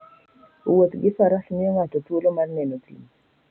Wuoth gi faras miyo ng'ato thuolo mar neno thim.